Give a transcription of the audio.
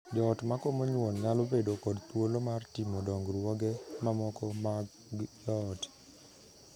Joot ma komo nyuol nyalo bedo kod thuolo mar timo dongruoge mamoko mag joot.